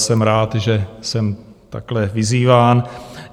Jsem rád, že jsem takhle vyzýván.